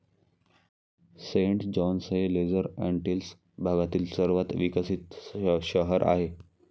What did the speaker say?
Saint John's हे Lesser Antilles भागातील सर्वात विकसित शहर आहे.